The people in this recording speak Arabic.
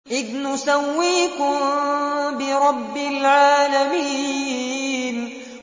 إِذْ نُسَوِّيكُم بِرَبِّ الْعَالَمِينَ